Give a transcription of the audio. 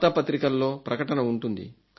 వార్తా పత్రికల్లో ప్రకటన ఉంటుంది